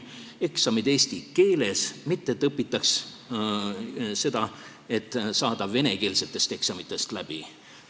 Eksamid olgu eesti keeles, mitte nii, et õpitakse selleks, et saada venekeelsetel eksamitel läbi.